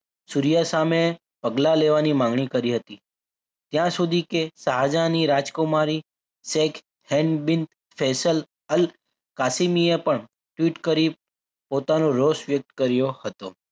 સુર્યા સામે પગલાં લેવાની માગણી કરી હતી ત્યાં સુધી કે શાહજહાની રાજકુમારી શેખ હેન્ડ બીન ચલ કાશીની એ પણ tweet કરી પોતાનો રોષ વ્યક્ત કર્યો હતો.